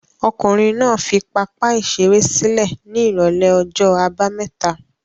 Ọkùnrin náà fi pápá-ìṣeré sílẹ̀ ní ìrọ́lẹ́ ọjọ́ àbámẹ́ta?